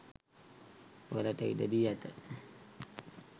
වලට ඉඩ දී ඇත.